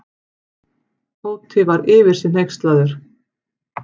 Tóti var yfir sig hneykslaður.